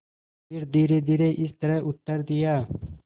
फिर धीरेधीरे इस तरह उत्तर दिया